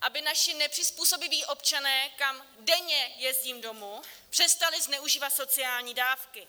aby naši nepřizpůsobiví občané, kam denně jezdím domů, přestali zneužívat sociální dávky.